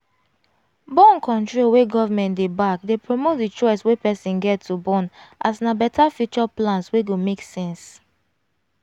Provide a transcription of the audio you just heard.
born-control wey government dey back dey promote the choice wey person get to born as na better fure plans wey go make sense.